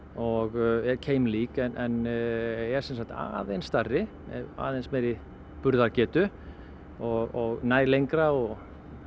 og er keimlík en er sem sagt aðeins stærri aðeins meiri burðargetu og nær lengra og